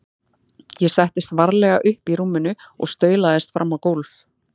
Ég settist varlega upp í rúminu og staulaðist fram á gólf.